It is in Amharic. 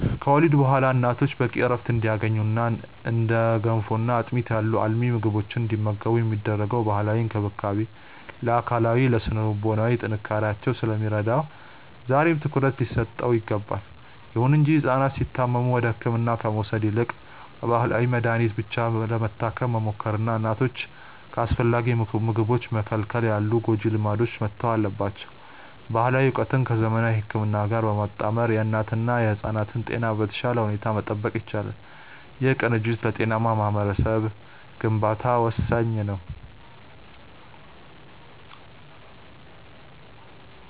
ከወሊድ በኋላ እናቶች በቂ ዕረፍት እንዲያገኙና እንደ ገንፎና አጥሚት ያሉ አልሚ ምግቦችን እንዲመገቡ የሚደረገው ባህላዊ እንክብካቤ ለአካላዊና ለሥነ-ልቦና ጥንካሬያቸው ስለሚረዳ ዛሬም ትኩረት ሊሰጠው ይገባል። ይሁን እንጂ ሕፃናት ሲታመሙ ወደ ሕክምና ከመውሰድ ይልቅ በባህላዊ መድኃኒት ብቻ ለመታከም መሞከርና እናቶችን ከአስፈላጊ ምግቦች መከልከል ያሉ ጎጂ ልማዶች መተው አለባቸው። ባህላዊ ዕውቀትን ከዘመናዊ ሕክምና ጋር በማጣመር የእናትና የሕፃናትን ጤና በተሻለ ሁኔታ መጠበቅ ይቻላል። ይህ ቅንጅት ለጤናማ ማኅበረሰብ ግንባታ ወሳኝ ነው።